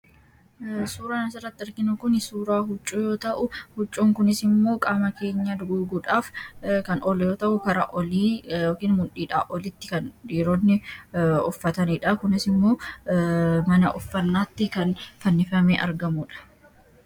Suuraan asirratti arginu kun suuraa huccuu yoo ta'u, huccuun kunis immoo qaama keenya haguuguudhaaf kan ooludha. Huccuu kanas mudhiidhaa olitti dhiironni uffatanidha. Kunis immoo mana uffannaatti fannifamee kan argamudha.